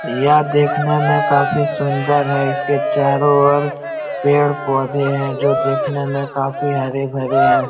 यह देखने में काफी सुन्दर है इसके चारों और पेड़-पौधे हैं जो देखने में काफी हरे-भरे हैं।